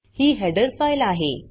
ही header file आहे